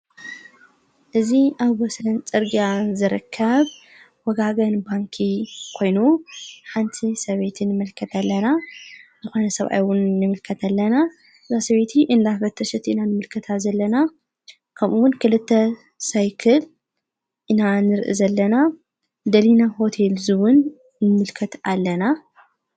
እዝ ኣብ ወሰለን ጨርጋያ ዘረካብ ወጋገን ባንኪ ኮይኑ ሓንቲ ሰቤትን ምልከት ኣለና ኣኾ ሰኣይውን ንምልከት ኣለና ራሰበይቲ እንላኅ ፈተሽት ኢና ንምልከታ ዘለና ከምኡውን ክልተ ሳይክል ኢናኣንር ዘለና ደሊና ሆቴል እውን ንምልከት ኣለና።